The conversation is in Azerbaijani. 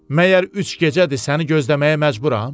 Məgər üç gecədir səni gözləməyə məcburam?